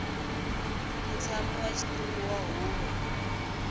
mutshami wa xitulu wa huvo